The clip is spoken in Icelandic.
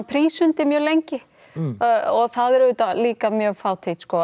prísund mjög lengi það er auðvitað líka mjög fátítt sko